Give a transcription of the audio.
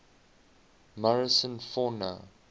morrison fauna